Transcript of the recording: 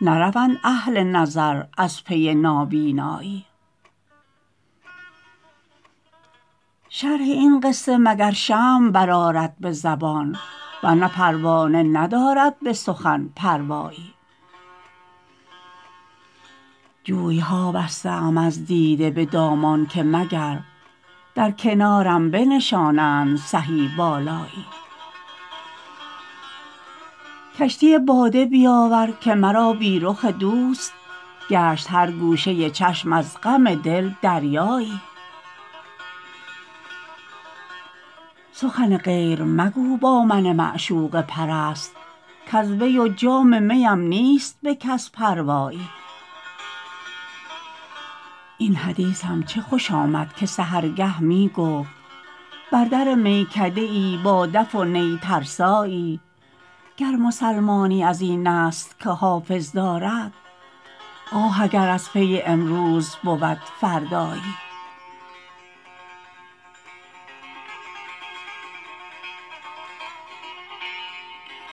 نروند اهل نظر از پی نابینایی شرح این قصه مگر شمع برآرد به زبان ورنه پروانه ندارد به سخن پروایی جوی ها بسته ام از دیده به دامان که مگر در کنارم بنشانند سهی بالایی کشتی باده بیاور که مرا بی رخ دوست گشت هر گوشه چشم از غم دل دریایی سخن غیر مگو با من معشوقه پرست کز وی و جام می ام نیست به کس پروایی این حدیثم چه خوش آمد که سحرگه می گفت بر در میکده ای با دف و نی ترسایی گر مسلمانی از این است که حافظ دارد آه اگر از پی امروز بود فردایی